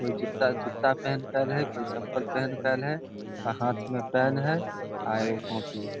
कोई जूता जूता पेहन कर है कोई चप्पल पेहन कर है हाथ में पेन है अ एगो कॉपी है ।